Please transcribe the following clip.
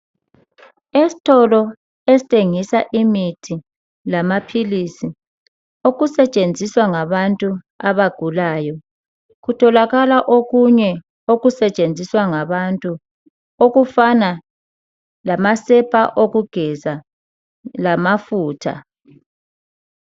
Esitolo esithengisa imithi lamaphilisi okusetshenziswa ngabantu abagulayo, kutholakala okunye okusetshenziswa ngabantu okufana lamasepa okugeza lamafutha.